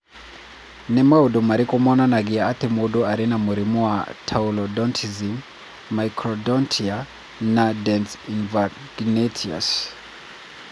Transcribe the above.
Nĩ maũndũ marĩkũ monanagia atĩ mũndũ arĩ na mũrimũ wa Taurodontism, microdontia, na dens invaginatus?